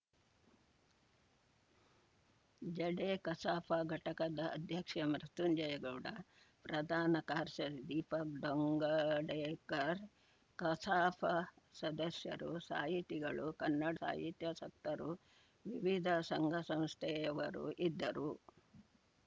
ಜಡೆ ಕಸಾಪ ಘಟಕದ ಅಧ್ಯಕ್ಷ ಮೃತ್ಯುಂಜಯ ಗೌಡ ಪ್ರಧಾನ ಕಾರ್ಶಿ ದೀಪಕ್‌ ದೋಂಗಡೆಕರ್‌ ಕಸಾಪ ಸದಸ್ಯರು ಸಾಹಿತಿಗಳು ಕನ್ನಡ ಸಾಹಿತ್ಯಾಸಕ್ತರು ವಿವಿಧ ಸಂಘಸಂಸ್ಥೆಯವರು ಇದ್ದರು